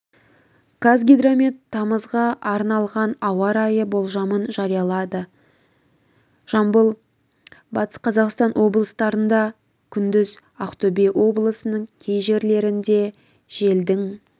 қазгидромет тамызға арналған ауа райы болжамын жариялады жамбыл батыс-қазақстан облыстарында күндіз ақтөбе облысының кей жерлерінде желдің